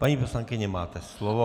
Paní poslankyně, máte slovo.